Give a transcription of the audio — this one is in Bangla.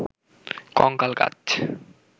কঙ্কাল গাছ